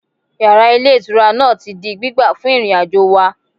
Yàrá Ilé Ìtura náà ti di gbígbà fún ìrìnàjò wà